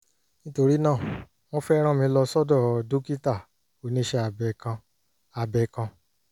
nítorí náà wọ́n fẹ́ rán mi lọ sọ́dọ̀ dókítà oníṣẹ́ abẹ kan abẹ kan